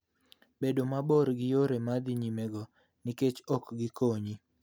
Bed mabor gi yore ma dhi nyimego, nikop ok gikonyi.